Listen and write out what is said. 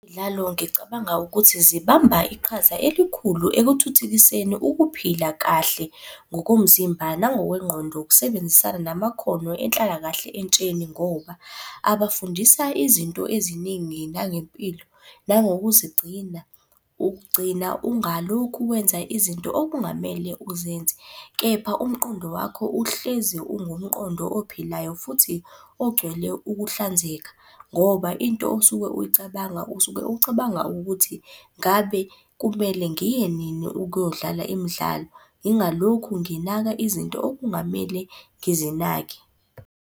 ngicabanga ukuthi zibamba iqhaza elikhulu ekuthuthukiseni ukuphila kahle ngokomzimba nangokwengqondo, ukusebenzisana namakhono enhlalakahle entsheni ngoba abafundisa izinto eziningi nangempilo nangokuzigcina. Ukugcina ungalokhu wenza izinto okungamele uzenze, kepha umqondo wakho uhlezi ungumqondo ophilayo futhi ogcwele ukuhlanzeka. Ngoba into osuke uyicabanga usuke ucabanga ukuthi ngabe kumele ngiye nini ukuyodlala imidlalo ngingalokhu nginaka izinto okungamele ngizinake.